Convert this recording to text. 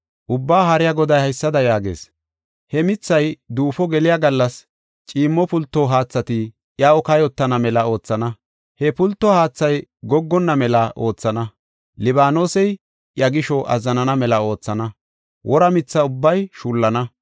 Ubbaa Haariya Goday haysada yaagees: “He mithay duufo geliya gallas ciimmo pulto haathati iyaw kayotana mela oothana. He pulto haathay goggonna mela oothana; Libaanosey iya gisho azzanana mela oothana; wora mitha ubbay shullana.